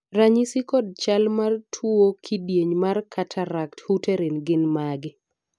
ranyisi kod chal mar tuo kidieny mar Cataract Hutterite gin mage?